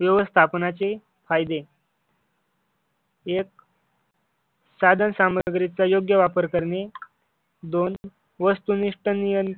व्यवस्थापनाचे फायदे एक साधन सामग्री चा योग्य वापर करणे. दोन वस्तुनिष्ठ निर्ण